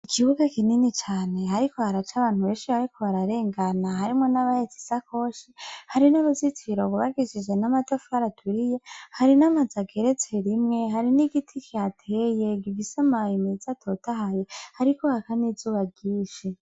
Ikibuga kinini cane, hariko hac'abantu benshi bariko bararengana, harimwo n abahets'isakoshi; hari nuruzitiro rwubakishijwe n'amatafar'aturiye, hari n'amaz'ageretse rimwe, hari n'igiti kihateye gifis'amababi mez'atotahaye, hariko haka n'izuba ryinshi.